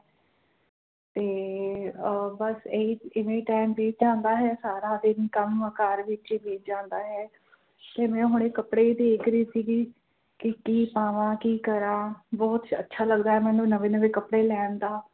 ਤੇ ਅਹ ਬਸ ਏਹੀ ਇਵੇ ਹੀ ਟਾਈਮ ਬਿਤ ਜਾਂਦਾ ਹੈਂ ਸਾਰਾ ਦਿਨ ਕੰਮ ਘਰ ਵਿੱਚ ਬਿਤ ਜਾਂਦਾ ਹੈਂ ਜਿਵੇ ਹੁਣ ਕੱਪੜੇ ਦੇਖ਼ ਰਹੀ ਸੀ ਗੀ ਕਿ ਪਾਵਾ ਕਿ ਕਰਾ ਬੋਹੋਤ ਅੱਛਾ ਲੱਗਦਾ ਹੈ ਮੈਨੂੰ ਨਵੇਂ ਨਵੇਂ ਕੱਪੜੇ ਲੈਣ ਦਾ